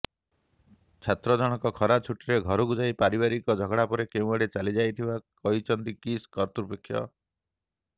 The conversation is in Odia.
ଛାତ୍ର ଜଣକ ଖରା ଛୁଟିରେ ଘରକୁ ଯାଇ ପାରିବାରିକ ଝଗଡ଼ା ପରେ କେଉଁଆଡେ ଚାଲିଯାଇଥିବା କହିଛନ୍ତି କିସ୍ କର୍ତ୍ତୃପକ୍ଷ